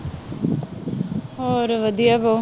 ਹੋਰ ਵਧੀਆ